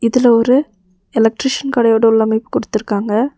இதுல ஒரு எலக்ட்ரீசன் கடையோட உள்ளமைப்பு கொடுத்திருக்காங்க.